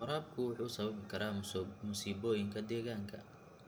Waraabku wuxuu sababi karaa masiibooyinka deegaanka.